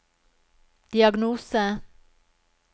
diagnose